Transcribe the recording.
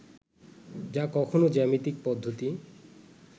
যা কখনও জ্যামিতিক পদ্ধতি